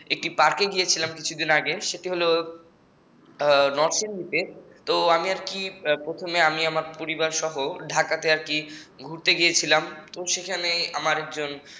একটি পার্কে গিয়েছিলাম কিছুদিন আগে সেটি হল নরসিংদীতে তো আমি আর কি প্রথমে আমি আমার পরিবারসহ ঢাকাতে ঘুরতে গিয়েছিলাম এবং সেখানে আমার একজন